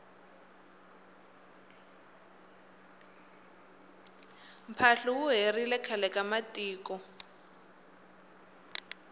mphahlu wu herile khale ka matiko